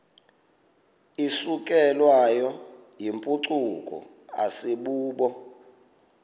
isukelwayo yimpucuko asibubo